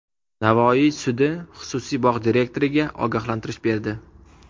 Navoiy sudi xususiy bog‘ direktoriga ogohlantirish berdi.